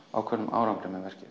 árangri með verkið